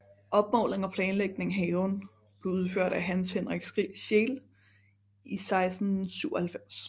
Opmåling og planlægning af haven blev udført af Hans Henrik Scheel i 1697